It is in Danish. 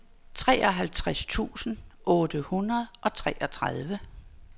treoghalvtreds tusind otte hundrede og treogtredive